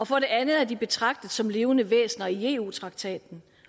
for det andet er de betragtet som levende væsener i eu traktaten